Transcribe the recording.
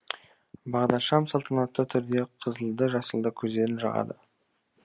бағдаршам салтанатты түрде қызылды жасылды көздерін жағады